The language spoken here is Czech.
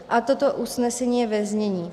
A toto usnesení je ve znění: